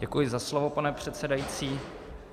Děkuji za slovo, pane předsedající.